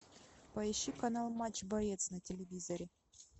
поищи канал матч боец на телевизоре